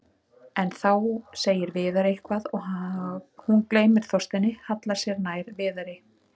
En þá segir Viðar eitthvað og hún gleymir Þorsteini, hallar sér nær Viðari.